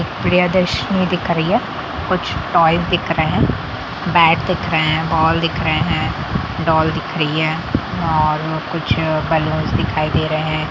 प्रियदर्शिनी दिख रही है कुछ दिख रहे हैं। बैट दिख रहे हैं बॉल दिख रहे हैं डॉल दिख रही है बैलून्स दिखाई दे रहे हैं।